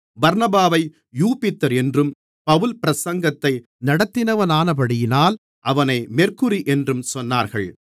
பர்னபாவை Jupiter என்றும் Paul பிரசங்கத்தை நடத்தினவனானபடியினால் அவனை மெர்க்குரி என்றும் சொன்னார்கள்